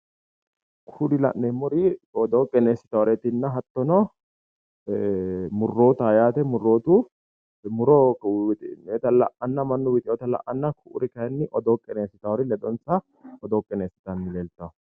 Kuri la'neemmori odoo qineessitannoreerinna hattono murrootaho yaate muro winxoyita la'anna mannu wixewota la'anna ku'uri kayinni odoo qineessitawori ledonsa odoo qineessitanni leeltawo.